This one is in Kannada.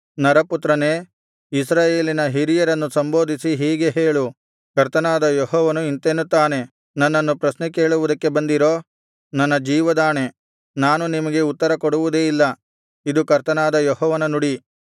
ನರಪುತ್ರನೇ ಇಸ್ರಾಯೇಲಿನ ಹಿರಿಯರನ್ನು ಸಂಬೋಧಿಸಿ ಹೀಗೆ ಹೇಳು ಕರ್ತನಾದ ಯೆಹೋವನು ಇಂತೆನ್ನುತ್ತಾನೆ ನನ್ನನ್ನು ಪ್ರಶ್ನೆ ಕೇಳುವುದಕ್ಕೆ ಬಂದಿರೋ ನನ್ನ ಜೀವದಾಣೆ ನಾನು ನಿಮಗೆ ಉತ್ತರ ಕೊಡುವುದೇ ಇಲ್ಲ ಇದು ಕರ್ತನಾದ ಯೆಹೋವನ ನುಡಿ